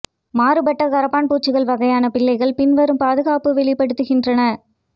மாறுபட்ட கரப்பான்பூச்சுகள் வகையான பிள்ளைகள் பின்வரும் பாதுகாப்பு வெளிப்படுத்துகின்றன